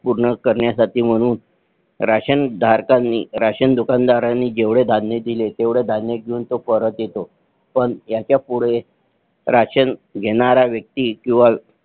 पूर्ण करण्यासाठी म्हणून राशन धारकांनी राशन दुकानदारांनी जेवढे राशन दिले तेव्हडा धान्य घेऊन तो परत येतो पण ह्याचा पुढे राशन घेणारा व्यक्ती किंवा